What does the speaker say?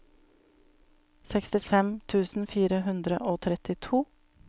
sekstifem tusen fire hundre og trettito